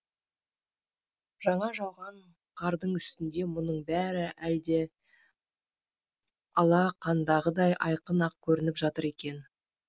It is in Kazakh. жаңа жауған қардың үстінде мұның бәрі әлде алақандағыдай айқын ақ көрініп жатыр екен